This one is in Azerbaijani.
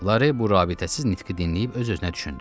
Lare bu rabitəsiz nitqi dinləyib öz-özünə düşündü.